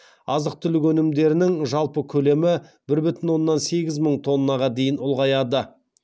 азық түлік өнімдерінің жалпы көлемі бір бүтін оннан сегіз мың тоннаға дейін ұлғаяды